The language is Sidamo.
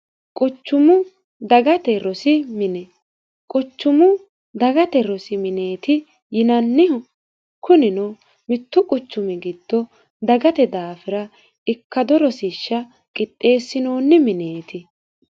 quchumu dagate rosi mine quchumu dagate rosi mineeti yinannihakunino mittu quchumi giddo dagate daafira ikkado rosishsha qixxeesinoonni mineeti